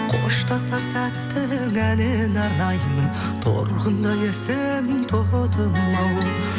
қоштасар сәттің әніне арнаймын торғындай әсем тотымау